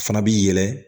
Fana bi yɛlɛ